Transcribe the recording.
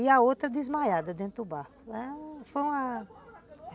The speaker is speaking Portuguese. E a outra desmaiada dentro do barco, foi uma